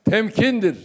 Təmkindir.